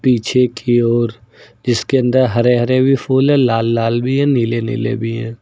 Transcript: पीछे की ओर जिसके अंदर हरे हरे भी फूल है लाल लाल भी है नीले नीले भी है।